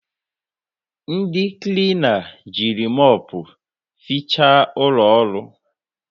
Ndị klina jiri mopu fiicha ụlọọrụ